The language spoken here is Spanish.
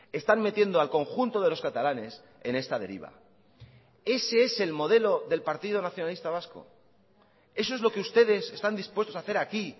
están metiendo al conjunto de los catalanes en esta deriva ese es el modelo del partido nacionalista vasco eso es lo que ustedes están dispuestos a hacer aquí